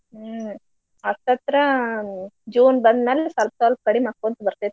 ಹ್ಮ್ ಹತ್ತತ್ರಾ June ಬಂದ್ ಮ್ಯಾಲ್ ಸ್ವಲ್ಪ್ ಸ್ವಲ್ಪ್ ಕಡಿಮ್ ಆಕ್ಕೋಂತ್ ಬರ್ತೇತ್.